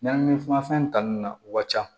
Ɲani a fɛn ta nunnu na u ka ca